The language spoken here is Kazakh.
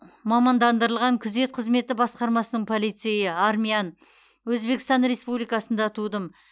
мамандандырылған күзет қызметі басқармасының полицейі армян өзбекстан республикасында тудым